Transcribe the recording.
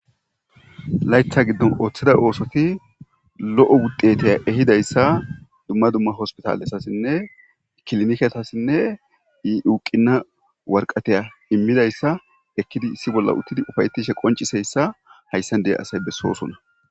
Laytha giddon ooththida oosoti lo7o wuddeteya ehidayssa dumma dumma hospitalesasinne ikilnketasinne iuuqina warqateya immidayssa ekkidi issi bolla uttidi ufayetishe qonciseyssa hayssan de7a asay bessoosona.